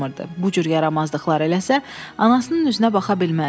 Bu cür yaramazlıqlar eləsə, anasının üzünə baxa bilməzdi.